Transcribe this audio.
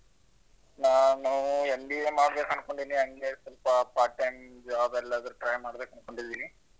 ನಾನೂ MBA ಮಾಡ್ಬೇಕು ಅನ್ಕೊಂಡಿನಿ ಹಂಗೆ ಸಲ್ಪ part time job ಎಲ್ಲಾದ್ರೂ try ಮಾಡ್ಬೇಕು ಅನ್ಕೊಂಡಿದ್ದೀನಿ.